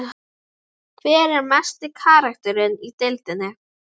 Fundarstaður blaðfarsins og aldinsins er í Surtarbrandsgili við Brjánslæk.